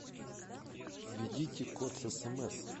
введите код с смс